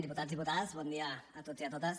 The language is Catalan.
diputats diputades bon dia a tots i a totes